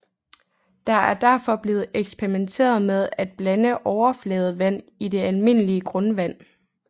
Der er derfor blevet eksperimenteret med at blande overfladevand i det almindelige grundvand